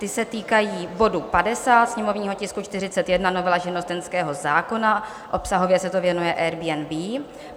Ty se týkají bodu 50, sněmovního tisku 41, novela živnostenského zákona, obsahově se to věnuje Airbnb.